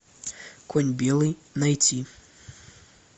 конь белый найти